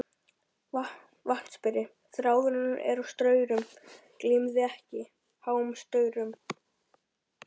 VATNSBERI: Þráðurinn er á staurum, gleymið því ekki, háum staurum.